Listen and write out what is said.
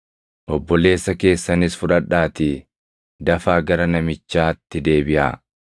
Obboleessa keessanis fudhadhaatii dafaa gara namichaatti deebiʼaa.